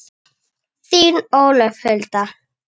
Þetta er fallega orðað.